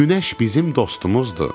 Günəş bizim dostumuzdur.